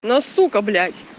но сука блять